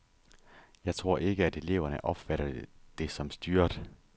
Jeg tror ikke, at eleverne opfatter det som styret.